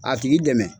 A tigi dɛmɛ